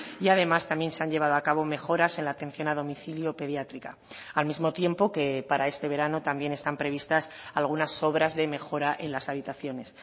y además también se han llevado a cabo mejoras en la atención a domicilio pediátrica al mismo tiempo que para este verano también están previstas algunas obras de mejora en las habitaciones